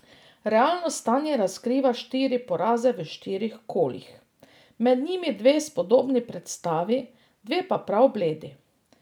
Realno stanje razkriva štiri poraze v štirih kolih, med njimi dve spodobni predstavi, dve pa prav bledi.